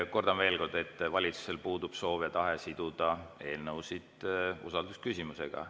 Kordan veel kord: valitsusel puudub soov ja tahe siduda eelnõusid usaldusküsimusega.